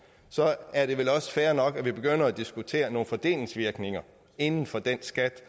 så er det vel også fair nok at vi begynder at diskutere nogle fordelingsvirkninger inden for den skat